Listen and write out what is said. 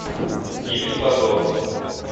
гибель богов